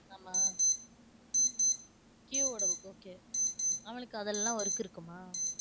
ஆமா Q வோட book okay அவனுக்கு அதெல்லாம் work இருக்குமா